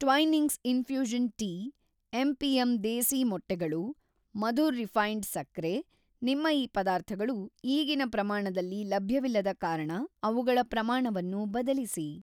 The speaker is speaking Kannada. Twinings infusion tea, MPM. Desi ಮೊಟ್ಟೆಗಳು, ಮಧುರ್ ರಿಫೈ಼ನ್ಡ್‌ ಸಕ್ಕರೆ, ನಿಮ್ಮ ಈ ಪದಾರ್ಥಗಳು ಈಗಿನ ಪ್ರಮಾಣದಲ್ಲಿ ಲಭ್ಯವಿಲ್ಲದ ಕಾರಣ ಅವುಗಳ ಪ್ರಮಾಣವನ್ನು ಬದಲಿಸಿ.